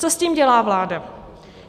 Co s tím dělá vláda?